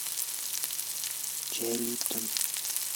чай липтон